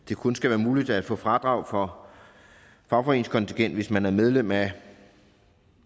det kun skal være muligt at få fradrag for fagforeningskontingent hvis man er medlem af